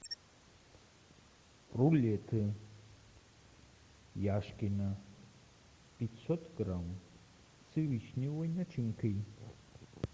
рулеты яшкино пятьсот грамм с вишневой начинкой